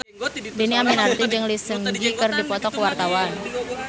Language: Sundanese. Dhini Aminarti jeung Lee Seung Gi keur dipoto ku wartawan